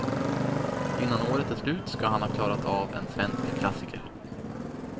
Innan året är slut ska han ha klarat av en svensk klassiker.